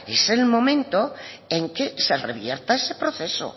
es el momento en que se revierta ese proceso